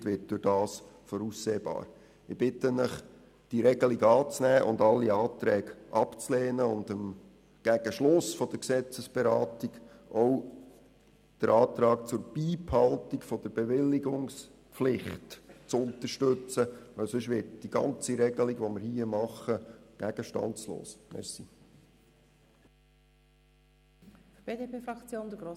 Ich bitte Sie, die Regelung anzunehmen, alle Anträge abzulehnen und gegen Ende der Gesetzesberatung auch den Antrag auf Beibehaltung der Bewilligungspflicht zu unterstützen, denn sonst wird die ganze Regelung, die wir hier beraten, gegenstandslos.